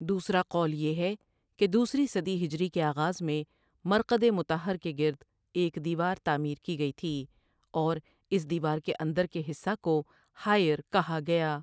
دوسرا قول یہ ہے کہ دوسری صدی ہجری کے آغاز میں مرقد مطہر کے گرد ایک دیوار تعمیر کی گئی تھی اور اس دیوار کے اندر کے حصہ کو حائر کہا گیا ۔